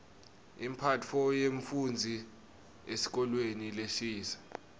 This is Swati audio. imphatfo yemfufndzi esikolweni lesisha